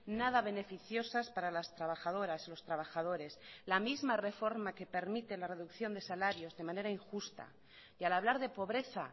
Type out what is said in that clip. nada beneficiosas para las trabajadoras los trabajadores la misma reforma que permite la reducción de salarios de manera injusta y al hablar de pobreza